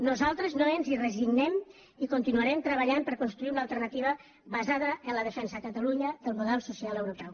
nosaltres no ens hi resignem i continuarem treballant per construir una alternativa basada en la defensa a catalunya del model social europeu